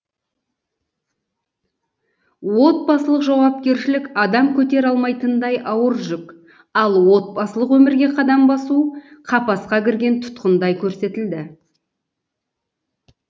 отбасылық жауапкершілік адам көтере алмайтындай ауыр жүк ал отбасылық өмірге қадам басу қапасқа кірген тұтқындай көрсетілді